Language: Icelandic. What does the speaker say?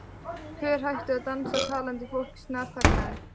Pör hættu að dansa, talandi fólk snarþagnaði.